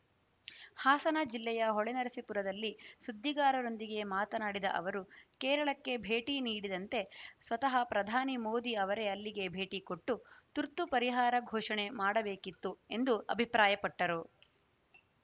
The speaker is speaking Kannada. ಹಾಸನ ಜಿಲ್ಲೆಯ ಹೊಳೆನರಸೀಪುರದಲ್ಲಿ ಸುದ್ದಿಗಾರರೊಂದಿಗೆ ಮಾತನಾಡಿದ ಅವರು ಕೇರಳಕ್ಕೆ ಭೇಟಿ ನೀಡಿದಂತೆ ಸ್ವತಃ ಪ್ರಧಾನಿ ಮೋದಿ ಅವರೇ ಇಲ್ಲಿಗೆ ಭೇಟಿ ಕೊಟ್ಟು ತುರ್ತು ಪರಿಹಾರ ಘೋಷಣೆ ಮಾಡಬೇಕಿತ್ತು ಎಂದು ಅಭಿಪ್ರಾಯಪಟ್ಟರು